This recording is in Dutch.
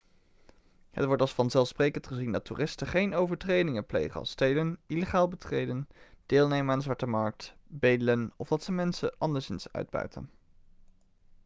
het wordt als vanzelfsprekend gezien dat toeristen geen overtredingen plegen als stelen illegaal betreden deelnemen aan de zwarte markt bedelen of dat ze mensen anderszins uitbuiten